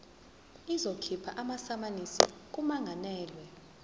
izokhipha amasamanisi kummangalelwa